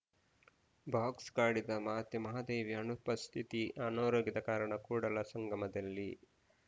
box ಕಾಡಿದ ಮಾತೆ ಮಹಾದೇವಿ ಅನುಪಸ್ಥಿತಿ ಅನಾರೋಗ್ಯದ ಕಾರಣ ಕೂಡಲಸಂಗಮದಲ್ಲಿ